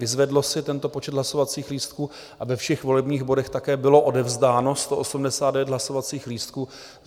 Vyzvedlo si tento počet hlasovacích lístků a ve všech volebních bodech také bylo odevzdáno 189 hlasovacích lístků.